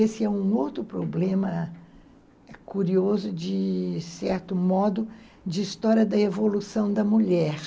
Esse é um outro problema curioso de certo modo de história da evolução da mulher.